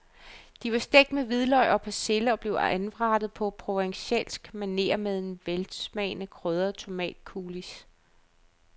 De var stegt med hvidløg og persille og blev anrettet på provencalsk maner på en velsmagende krydret tomatcoulis.